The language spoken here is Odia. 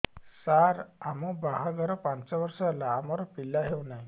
ସାର ଆମ ବାହା ଘର ପାଞ୍ଚ ବର୍ଷ ହେଲା ଆମର ପିଲା ହେଉନାହିଁ